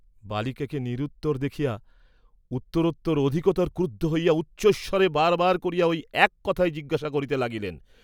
বালিকাকে নিরুত্তর দেখিয়া উত্তরোত্তর অধিকতর ক্রুদ্ধ হইয়া উচ্চৈঃস্বরে বারবার করিয়া ঐ এক কথাই জিজ্ঞাসা করিতে লাগিলেন।